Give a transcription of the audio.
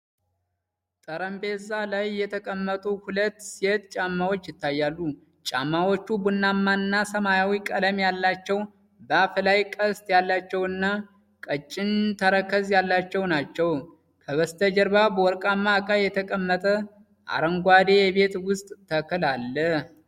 ጠረጴዛ ላይ የተቀመጡ ሁለት ሴት ጫማዎች ይታያሉ። ጫማዎቹ ቡናማና ሰማያዊ ቀለም ያላቸው፣ በአፍ ላይ ቀስት ያላቸውና ቀጭን ተረከዝ ያላቸው ናቸው። ከበስተጀርባ በወርቃማ እቃ የተቀመጠ አረንጓዴ የቤት ውስጥ ተክል አለ።